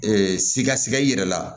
Ee sikasiga i yɛrɛ la